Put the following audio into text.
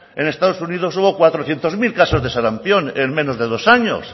en estados unidos hubo cuatrocientos mil casos de sarampión en menos de dos años